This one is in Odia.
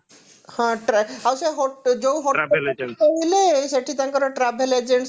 ହଁ tra ଆଉ ସେ hotel ଯଉ hotel ରେ ରହିଲେ ସେଠି ତାଙ୍କର travel agent ସହିତ